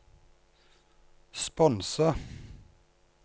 sponse